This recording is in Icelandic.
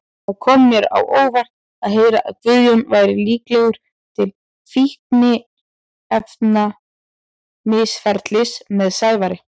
Það kom mér á óvart að heyra að Guðjón væri líklegur til fíkniefnamisferlis með Sævari.